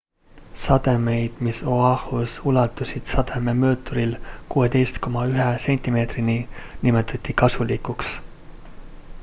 sademeid mis o'ahus ulatusid sadememõõturil 16,1 sentimeetrini nimetati kasulikuks